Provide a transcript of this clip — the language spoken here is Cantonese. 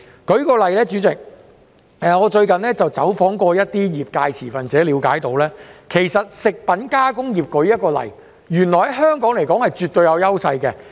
代理主席，最近，我走訪一些業界持份者，了解到食品加工業原來在香港是絕對有優勢的。